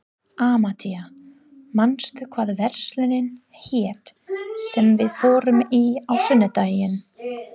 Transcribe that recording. Amadea, manstu hvað verslunin hét sem við fórum í á sunnudaginn?